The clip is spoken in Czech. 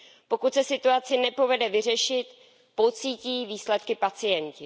Pokud se situaci nepovede vyřešit, pocítí výsledky pacienti.